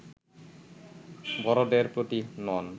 বড়দের প্রতি নন